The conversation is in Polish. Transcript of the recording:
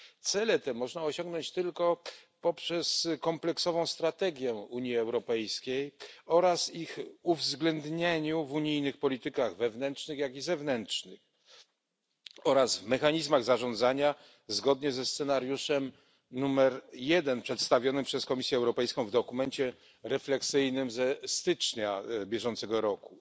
Cele te można osiągnąć tylko poprzez kompleksową strategię Unii Europejskiej oraz ich uwzględnienie w unijnych politykach wewnętrznych i zewnętrznych oraz w mechanizmach zarządzania zgodnie ze scenariuszem numer jeden przedstawionym przez Komisję Europejską w dokumencie refleksyjnym ze stycznia bieżącego roku.